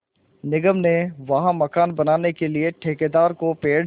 निगम ने वहाँ मकान बनाने के लिए ठेकेदार को पेड़